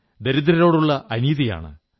ദരിദ്രരോടുള്ള അനീതിയാണ്